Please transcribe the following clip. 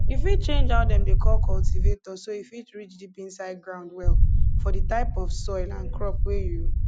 you fit change how dem dey call cultivator so e fit reach deep inside ground well for di type of soil and crop wey you